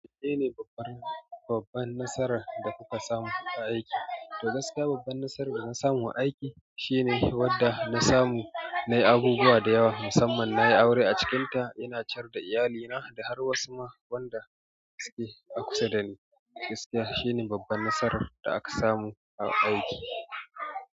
Menene babban, babban nasarar da kuka samu a aiki? Da gaske babban nasarar da na samu a aiki shine wanda na samu, na yi abubuwa da yawa musamman na yi aure a cikinta, ina ciyar da iyalina da har wasu ma wanda suke a kusa da ni. Gaskiya shine babban nasarar da aka samu a aiki.